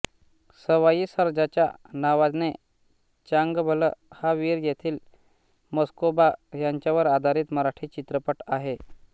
सवाई सर्जाच्या नावाने चांगभल हा वीर येथील म्हस्कोबा यांच्यावर आधारित मराठी चित्रपट आहे